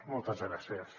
moltes gràcies